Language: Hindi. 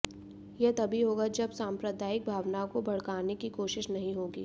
यह तभी होगा जब साम्प्रदायिक भावनाओं को भड़काने की कोशिश नहीं होगी